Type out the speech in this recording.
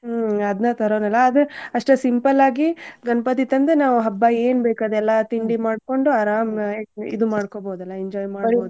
ಹ್ಮ್ ಅದ್ನ ತರೋದಲ್ಲ ಅದ್ ಅಷ್ಟ simple ಆಗಿ ಗಣ್ಪತಿ ತಂದ್ ನಾವ್ ಹಬ್ಬ ಏನ್ ಬೇಕ್ ಅದೆಲ್ಲಾ ತಿಂಡಿ ಮಾಡ್ಕೊಂಡು ಆರಾಮ್ ಈ~ ಇದು ಮಾಡ್ಕೊಬೋದಲ್ಲ enjoy ಮಾಡಿ.